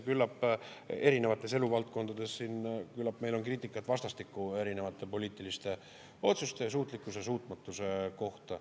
Küllap erinevates eluvaldkondades meil on kriitikat vastastikku erinevate poliitiliste otsuste ja suutlikkuse-suutmatuse kohta.